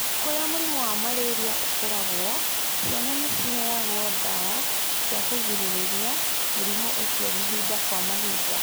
Kũrĩa mũrimũ wa malaria ũkoragwo, ciana nĩ ciheagwo ndawa cia kũgirĩrĩria mũrimũ ũcio mahinda kwa mahinda.